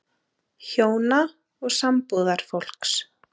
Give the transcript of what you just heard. HJÓNA OG SAMBÚÐARFÓLKS